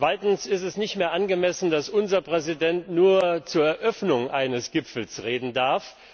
Es ist nicht mehr angemessen, dass unser Präsident nur zur Eröffnung eines Gipfels reden darf.